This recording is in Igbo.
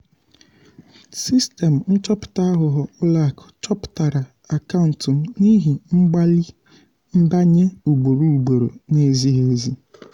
sistemụ nchọpụta aghụghọ ụlọakụ chọpụtara akaụntụ m n’ihi mgbalị nbanye ugboro ugboro na-ezighi ezi.